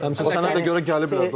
Həm sənə görə gəliblər də ora.